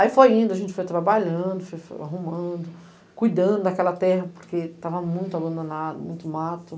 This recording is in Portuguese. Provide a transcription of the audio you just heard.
Aí foi indo, a gente foi trabalhando, foi arrumando, cuidando daquela terra, porque estava muito abandonado, muito mato.